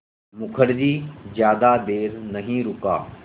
मुखर्जी ज़्यादा देर नहीं रुका